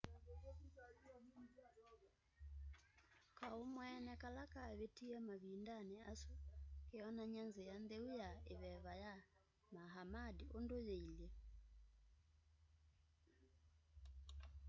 kaau mweene kala kavitie mavindani asu keonany'a nzia ntheu ya iveva ya muhammad undu yiilye